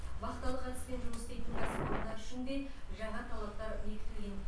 вахталық әдіспен жұмыс істейтін кәсіпорындар үшін де жаңа талаптар бекітілген